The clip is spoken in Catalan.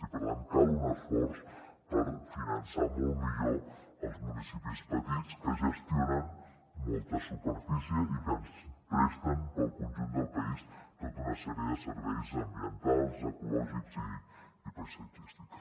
i per tant cal un esforç per finançar molt millor els municipis petits que gestionen molta superfície i que presten per al conjunt del país tota una sèrie de serveis ambientals ecològics i paisatgístics